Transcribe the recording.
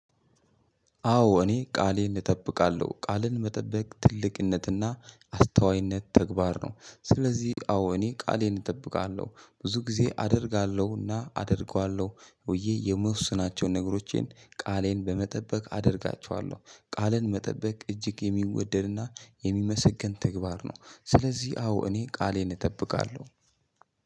አዎ እኔ ቃሌን እጠብቃለሁ። ቃሌን መጠበቅ ትልቅነትና አስተዋይነት ተግባር ነው። ስለዚህ አዎ እኔ ቃሌን እጠብቃለሁ። ብዙ ጊዜ አደርጋለሁና አደርገዋለሁ። ሆዬ የሚወስናቸውን ነገሮቼን ቃሌን በመጠበቅ አደርጋቸዋለሁ። ቃሌን መጠበቅ እጅግ የሚወደድና የሚመሰገን ተግባር ነው። ስለዚህ አዎ እኔ ቃሌን እጠብቃለሁ።